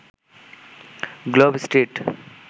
globe street